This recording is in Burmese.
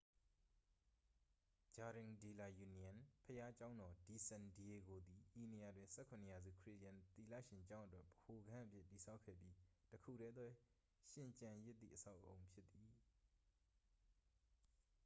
jardín de la unión။ ဘုရားကျောင်းတော် de san diego သည် ဤနေရာတွင် ၁၇th-ရာစု ခရစ်ယာန်သီလရှင်ကျောင်းအတွက် ဗဟိုခန်းအဖြစ် တည်ဆောက်ခဲ့ပြီး တစ်ခုတည်းသောရှင်ကျန်ရစ်သည့်အဆောက်အဦဖြစ်သည်။